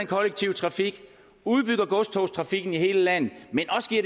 kollektive trafik udbygger godstogstrafikken i hele landet